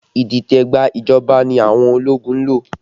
Idite gba ìjọba ní àwọn ológun ń lò